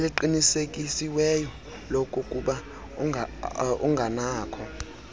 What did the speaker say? eliqinisekisiweyo lokokuba unganakho